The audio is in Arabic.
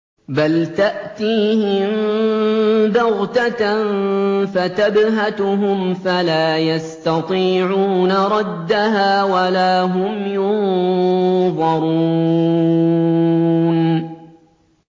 بَلْ تَأْتِيهِم بَغْتَةً فَتَبْهَتُهُمْ فَلَا يَسْتَطِيعُونَ رَدَّهَا وَلَا هُمْ يُنظَرُونَ